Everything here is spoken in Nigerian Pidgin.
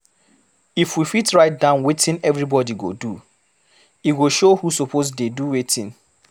If we fit write down wetin everybody go do, e go show who suppose dey do wetin.